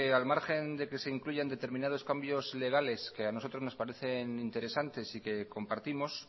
al margen de que se incluyan determinados cambios legales que a nosotros nos parecen interesantes y compartimos